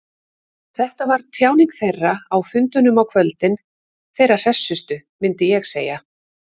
Þetta var tjáning þeirra, á fundunum á kvöldin, þeirra hressustu, myndi ég segja.